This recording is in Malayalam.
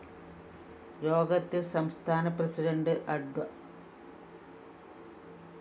യോഗത്തില്‍ സംസ്ഥാന പ്രസിഡന്റ്‌ അഡ്വ